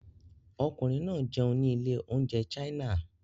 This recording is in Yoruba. Ọkùnrin náà jẹun ní ilé-oúnjẹ China.